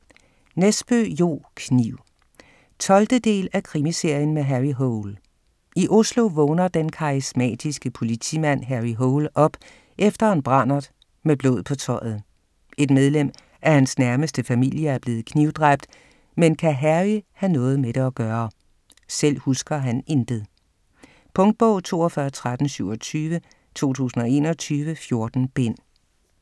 Nesbø, Jo: Kniv 12. del af Krimiserien med Harry Hole. I Oslo vågner den karismatiske politimand Harry Hole op efter en brandert med blod på tøjet. Et medlem af hans nærmeste familie er blevet knivdræbt, men kan Harry have noget med det at gøre? Selv husker han intet. Punktbog 421327 2021. 14 bind.